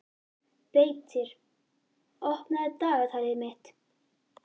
Beitir, opnaðu dagatalið mitt.